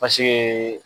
Basigi